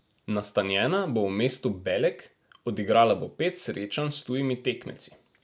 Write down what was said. Nastanjena bo v mestu Belek, odigrala bo pet srečanj s tujimi tekmeci.